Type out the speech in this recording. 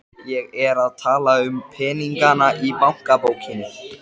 Ég er að tala um peningana í bankabókinni.